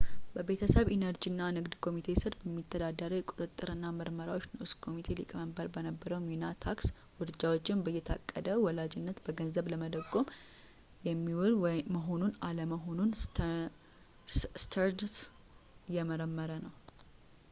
በቤተሰብ ኢነርጂ እና ንግድ ኮሚቴ ሥር በሚተዳደረው የቁጥጥር እና ምርመራዎች ንዑስ ኮሚቴ ሊቀመንበር በነበረው ሚና ታክስ ውርጃዎችን በየታቀደ ወላጅነት በገንዘብ ለመደጎም የሚውል መሆን አለመሆኑን ስተርንስ እየመረመረ ነው